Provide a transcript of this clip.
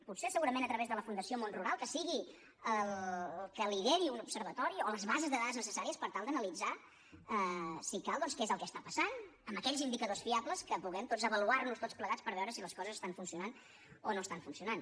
potser segurament a través de la fundació món rural que sigui la que lideri un observatori o les bases de dades necessàries per tal d’analitzar si cal doncs què és el que està passant amb aquells indicadors fiables que puguem tots avaluar nos tots plegats per veure si les coses estan funcionant o no estan funcionant